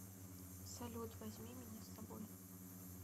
салют возьми меня с собой